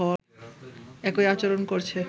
একই আচরণ করছে